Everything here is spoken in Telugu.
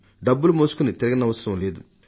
డబ్బును మోసుకుంటూ తిరగనక్కర లేదు